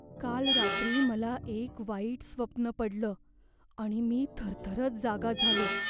काल रात्री मला एक वाईट स्वप्न पडलं आणि मी थरथरत जागा झालो.